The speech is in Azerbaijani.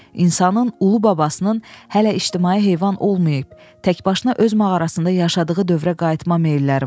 İnsanın ulu babasının hələ ictimai heyvan olmayıb, təkbaşına öz mağarasında yaşadığı dövrə qayıtma meylləri var.